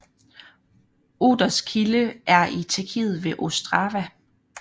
Oders kilde er i Tjekkiet ved Ostrava